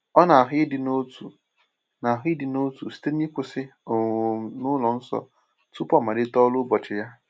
O na-ahụ ịdị n’otu na-ahụ ịdị n’otu site n’ịkwụsị um n’ụlọ nsọ tupu o malite ọrụ ụbọchị ya.